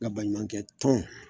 Nga baɲumankɛ tɔn